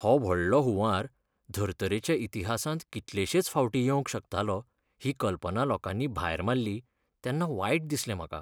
हो व्हडलो हुंवार धर्तरेच्या इतिहासांत कितलेशेच फावटीं येवंक शकतालो ही कल्पना लोकांनी भायर मारली तेन्ना वायट दिसलें म्हाका.